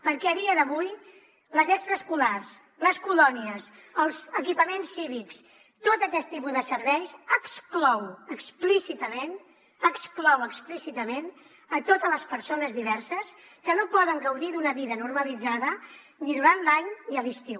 perquè a dia d’avui les extraescolars les colònies els equipaments cívics tot aquest tipus de serveis exclou explícitament exclou explícitament totes les persones diverses que no poden gaudir d’una vida normalitzada ni durant l’any ni a l’estiu